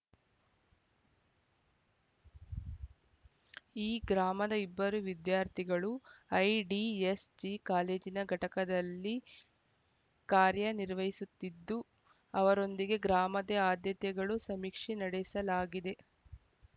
ಈ ಗ್ರಾಮದ ಇಬ್ಬರು ವಿದ್ಯಾರ್ಥಿಗಳು ಐಡಿಎಸ್‌ಜಿ ಕಾಲೇಜಿನ ಘಟಕದಲ್ಲಿ ಕಾರ‍್ಯನಿರ್ವಹಿಸುತ್ತಿದ್ದು ಅವರೊಂದಿಗೆ ಗ್ರಾಮತೆ ಆದ್ಯತೆಗಳ ಸಮೀಕ್ಷೆ ನಡೆಸಲಾಗಿದೆ